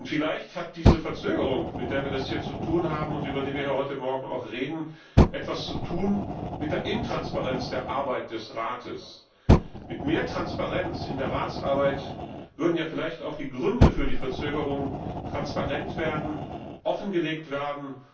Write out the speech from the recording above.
Vielleicht hat diese Verzögerung, mit der wir es hier zu tun haben und über die wir heute Morgen reden, etwas zu tun mit der Intransparenz der Arbeit des Rates. Mit mehr Transparenz in der Ratsarbeit würden ja vielleicht auch die Gründe für die Verzögerung, offengelegt werden.